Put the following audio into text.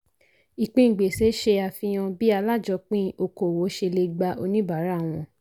ìpín gbèsè ṣe àfihàn bí alájọpin okòwò ṣe lè gbà oníbàárà wọn.